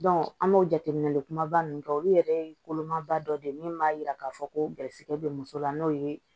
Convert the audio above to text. an b'o jateminɛ kumaba ninnu kɛ olu yɛrɛ ye kolomaba dɔ de ye min b'a jira k'a fɔ ko garisigɛ bɛ muso la n'o ye